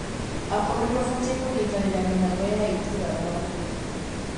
akũrũ nimabataie kunyitanira mihang'o ya ituura na uhuthu